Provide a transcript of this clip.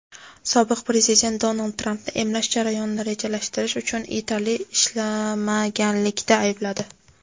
sobiq Prezident Donald Trampni emlash jarayonini rejalashtirish uchun yetarli ishlamaganlikda aybladi.